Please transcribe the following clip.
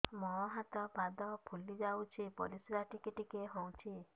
ମୁହଁ ହାତ ପାଦ ଫୁଲି ଯାଉଛି ପରିସ୍ରା ଟିକେ ଟିକେ ହଉଛି